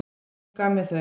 Hún gaf mér þau.